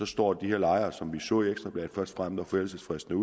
står de her lejere som vi så i ekstra bladet først frem når forældelsesfristen